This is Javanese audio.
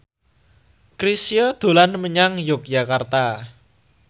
Chrisye dolan menyang Yogyakarta